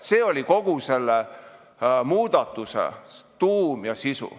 See oli kogu selle muudatuse tuum ja sisu.